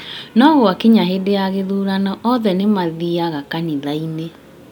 No gwakinya hĩndĩ ya gĩthurano othe nĩmathiaga kanitha-inĩ